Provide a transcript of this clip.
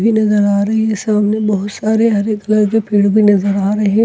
भी नजर आ रही है सामने बहुत सारे हरे कलर के पेड़ भी नजर आ रहे--